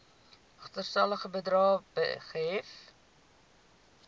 agterstallige bedrae gehef